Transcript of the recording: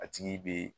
A tigi bɛ